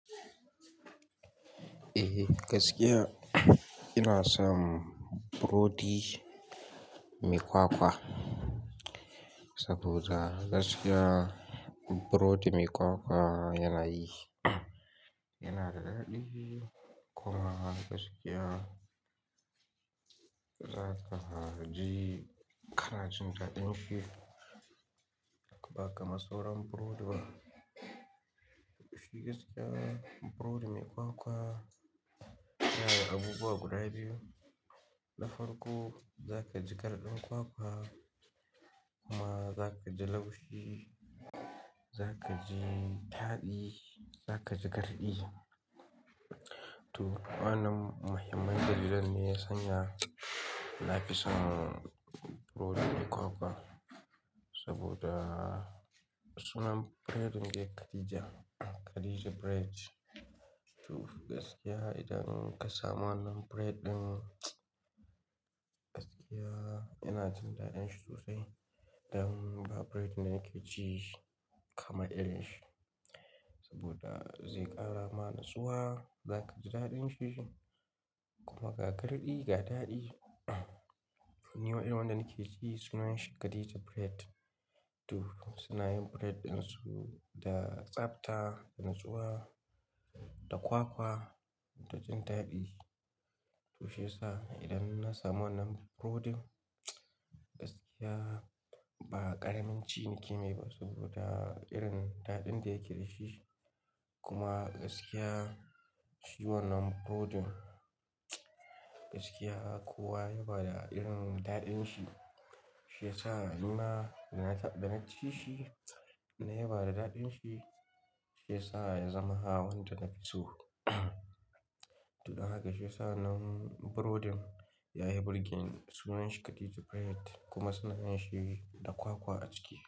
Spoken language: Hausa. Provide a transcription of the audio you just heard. Eh, gaskiya ina son burodi mai kwakwa saboda gaskiya burodi mai kwakwa yana yi, yana da daɗi. Kuma gaskiya za ka ji kanajin daɗin shi ba kamar sauran burodi ba. Shi gaskiya burodi mai kwakwa yana da abubuwa guda biyu. Na farko za ka ji garɗin kwakwa kuma za ka ji laushi, za ka ji daɗi, za ka ji garɗi. To, wannan muhimmin dalilin ne ya sanya na fi son burodi mai kwakwa saboda sunan bread ɗin yake Khadija, Khadija Bread. To gaskiya idan ka samu wannan bread ɗin, gaskiya yana jin daɗin shi sosai idan ba bread ɗin da kike ci kamar irin shi. Saboda zai ƙara mana tsuwa, za ka ji daɗin shi kuma ga garɗi, ga daɗi. Nima irinwanda nake ci sunan shi Khadija Bread. To suna yin bread ɗin su da tsabta, da nutsuwa, da kwakwa da jin daɗi. Tushe sa idan na samu wannan burodin gaskiya ba ƙaramin ciniki ne ba saboda irin daɗin da yake da shi. Kuma gaskiya shi wannan burodin gaskiya kowa yaba da irin daɗin shi. Shi yasa a ni ma da na ci shi nayi bada daɗin shi. Shi yasa ya zama hawan da na fi so. To don haka shi yasa wannan burodin yayi burgen sunan shi Khadija Bread kuma suna yin shi da kwakwa a ciki.